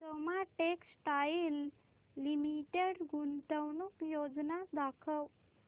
Soma textile limited गुंतवणूक योजना दाखव